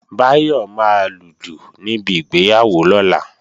Báyọ̀ máa lùlù níbi ìgbéyàwó lọ́la